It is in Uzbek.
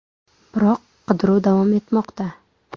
Biroq qidiruv davom etmoqda.